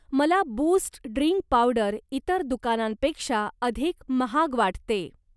मला Boost drink powder इतर दुकानांपेक्षा अधिक महाग वाटते.